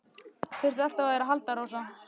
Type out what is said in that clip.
Hann þurfti alltaf á þér að halda, Rósa.